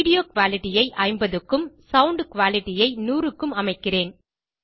video quality ஐ 50 க்கும் sound quality ஐ 100க்கும் அமைக்கிறேன்